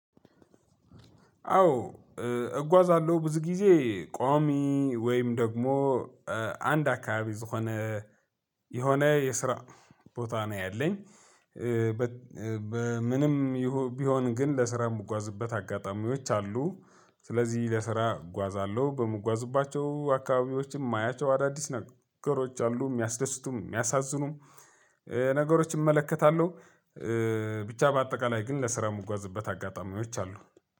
አዎ እጓዛለሁ ብዙ ጊዜ ቋሚ ወይም ደግሞ አንድ አካባቢ የሆነ የሆነ የስራ ቦታ ነው ያለኝ። በ በምንም ቢሆን ግን ለስራ የምጓዝበት አጋጣሚዎች አሉ። ስለዚህ ለስራ እጓዛለሁ በምጓዝባቸው አካባቢዎችም የማያቸው አዳዲስ ነገሮች አሉ የሚያስደስቱም የሚያሳዝኑም ነገሮች እመለከታለሁ። ብቻ በአጠቃላይ ግን ለስራ የምጓዝበት አጋጣሚዎች አሉ።